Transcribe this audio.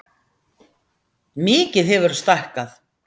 Mikið hefurðu stækkað.